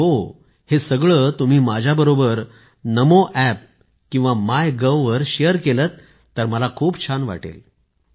आणि हो आणि हे सगळं तुम्ही माझ्याबरोबर NamoApp किंवा मायगोव वर शेअर केलं तर मला खूप छान वाटेल